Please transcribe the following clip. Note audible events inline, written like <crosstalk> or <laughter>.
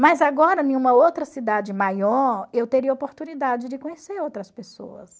Mas agora, <unintelligible> uma outra cidade maior, eu teria oportunidade de conhecer outras pessoas.